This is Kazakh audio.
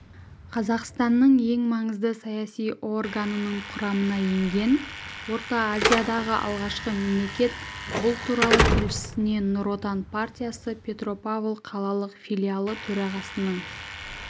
қазақстан ең маңызды саяси органының құрамына енген орта азиядағы алғашқы мемлекет бұл туралы тілшісіне нұр отан партиясы петропавл қалалық филиалы төрағасының